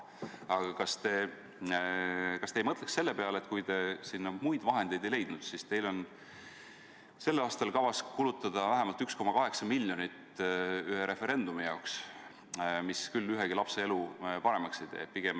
Aga kui te selleks muid vahendeid ei leidnud, siis kas te ei mõtleks selle peale, et teil on sellel aastal kavas kulutada vähemalt 1,8 miljonit ühe referendumi jaoks, mis küll ühegi lapse elu paremaks ei tee?